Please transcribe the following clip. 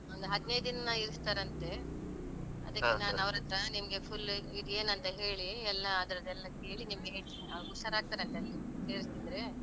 ಒಂದು ಹದಿನೈದಿನ ಇರಿಸ್ತಾರಂತೆ. ನಿಮ್ಗೆ full ಇದು ಏನಂತ ಹೇಳಿ ಎಲ್ಲ ಅದ್ರದ್ದೆಲ್ಲ ಕೇಳಿ ನಿಮ್ಗೆ ಹೇಳ್ತಿನಿ. ಆವಾಗ ಹುಷಾರಾಗ್ತಾರಂತೆ ಅಲ್ಲಿ ಸೇರಿಸಿದ್ರೆ.